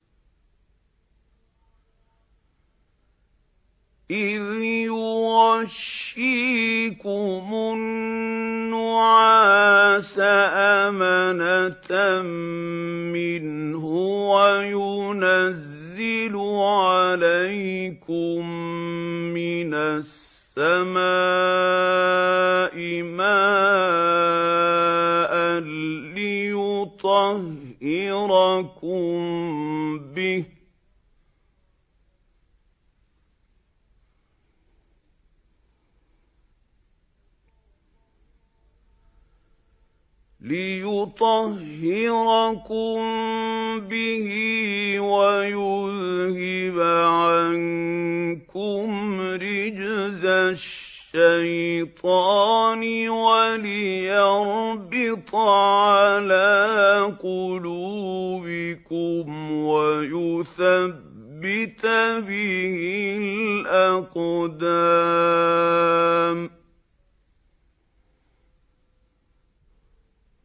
إِذْ يُغَشِّيكُمُ النُّعَاسَ أَمَنَةً مِّنْهُ وَيُنَزِّلُ عَلَيْكُم مِّنَ السَّمَاءِ مَاءً لِّيُطَهِّرَكُم بِهِ وَيُذْهِبَ عَنكُمْ رِجْزَ الشَّيْطَانِ وَلِيَرْبِطَ عَلَىٰ قُلُوبِكُمْ وَيُثَبِّتَ بِهِ الْأَقْدَامَ